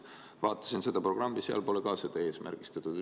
Vaatasin seda programmi, seal pole ka seda eesmärgistatud.